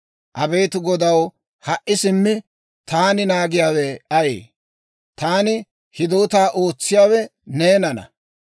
«Abeet Godaw, ha"i simmi, taani naagiyaawe ayee? Taani hidootaa ootsiyaawe neenana.